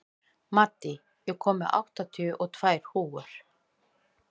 Maddý, ég kom með áttatíu og tvær húfur!